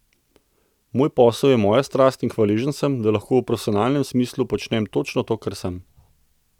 Moj posel je moja strast in hvaležen sem, da lahko v profesionalnem smislu počnem točno to, kar sem.